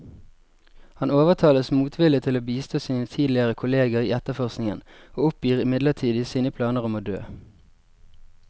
Han overtales motvillig til å bistå sine tidligere kolleger i etterforskningen, og oppgir midlertidig sine planer om å dø.